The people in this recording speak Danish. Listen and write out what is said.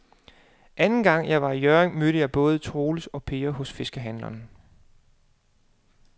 Anden gang jeg var i Hjørring, mødte jeg både Troels og Per hos fiskehandlerne.